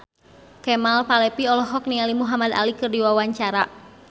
Kemal Palevi olohok ningali Muhamad Ali keur diwawancara